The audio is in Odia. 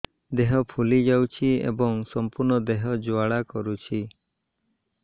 ଦେହ ଫୁଲି ଯାଉଛି ଏବଂ ସମ୍ପୂର୍ଣ୍ଣ ଦେହ ଜ୍ୱାଳା କରୁଛି